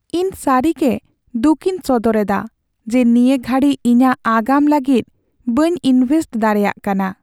ᱤᱧ ᱥᱟᱹᱨᱤᱜᱮ ᱫᱩᱠᱤᱧ ᱥᱚᱫᱚᱨ ᱮᱫᱟ ᱡᱮ ᱱᱤᱭᱟᱹ ᱜᱷᱟᱹᱲᱤᱡᱽ ᱤᱧᱟᱹᱜ ᱟᱜᱟᱢ ᱞᱟᱹᱜᱤᱫ ᱵᱟᱹᱧ ᱤᱱᱵᱷᱮᱥᱴ ᱫᱟᱲᱮᱭᱟᱜ ᱠᱟᱱᱟ ᱾